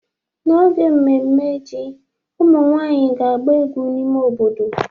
N'oge mmemme ji, ụmụ nwanyị ga-agba egwu n'ime obodo.